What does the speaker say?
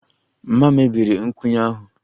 Mama mebiri nkwụnye ahụ